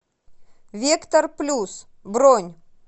вектор плюс бронь